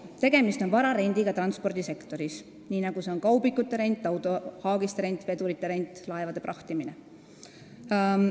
Tegemist on vara rendiga transpordisektoris, nii nagu on ka kaubikute rent, autohaagiste rent, vedurite rent, laevade prahtimine.